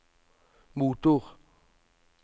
motor